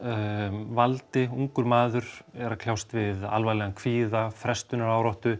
valdi ungur maður er að kljást við alvarlegan kvíða